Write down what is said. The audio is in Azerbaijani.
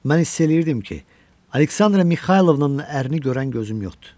Mən hiss eləyirdim ki, Aleksandra Mixaylovnanın ərini görən gözüm yoxdur.